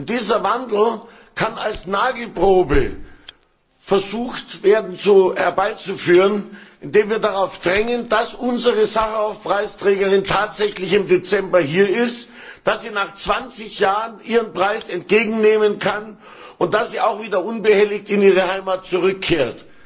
Dieser Wandel kann als Nagelprobe verstanden werden, indem wir darauf drängen, dass unsere Sacharow Preisträgerin tatsächlich im Dezember hier ist, dass sie nach 20 Jahren ihren Preis entgegennehmen kann und dass sie auch wieder unbehelligt in ihre Heimat zurückkehrt.